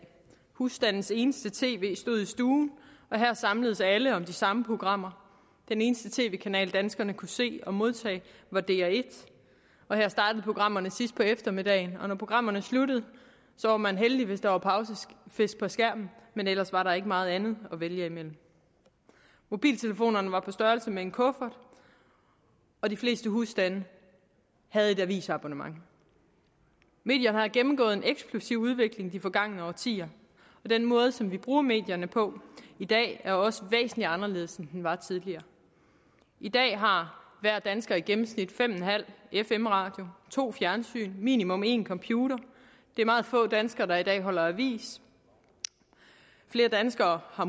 husstandens eneste tv stod i stuen og her samledes alle om de samme programmer den eneste tv kanal danskerne kunne se og modtage var dr1 og her startede programmerne sidst på eftermiddagen og når programmerne sluttede var man heldig hvis der var pausefisk på skærmen ellers var der ikke meget andet at vælge imellem mobiltelefonerne var på størrelse med en kuffert og de fleste husstande havde et avisabonnement medierne har gennemgået en eksplosiv udvikling de forgangne årtier og den måde som vi bruger medierne på i dag er også væsentlig anderledes end den var tidligere i dag har hver dansker i gennemsnit fem en halv fm radio to fjernsyn minimum én computer det er meget få danskere der i dag holder avis flere danskere har